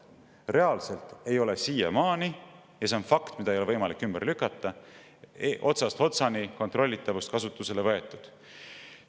Reaalselt ei ole siiamaani – ja see on fakt, mida ei ole võimalik ümber lükata – otsast otsani kontrollitavust kasutusele võetud.